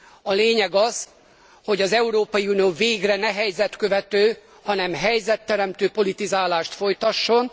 A lényeg az, hogy az Európai Unió végre ne helyzetkövető, hanem helyzetteremtő politizálást folytasson.